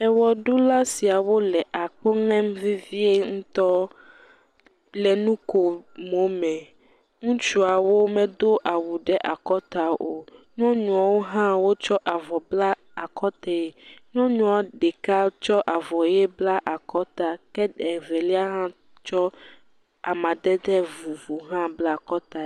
Ewɔɖula siawo le ako ŋem vevie ŋutɔ le nu ko mo me. Ŋutsuawo medo awu ɖe akɔta o. nyɔnuawo hã wotsɔ avɔ bla akɔtae. Nyɔnau ɖeka tsɔ avɔ ʋi bla akɔta ke Evelia ha tsɔ amadede vovo tsɔ bla akɔtae.